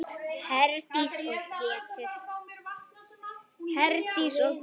Herdís og Pétur.